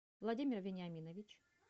владимир виниаминович